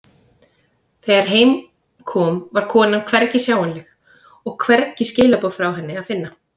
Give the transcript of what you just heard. Þegar heim kom var konan hvergi sjáanleg og hvergi skilaboð frá henni að finna.